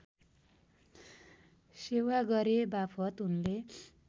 सेवा गरेबापत उनले